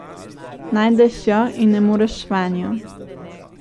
Najdeš jo in ne moreš vanjo.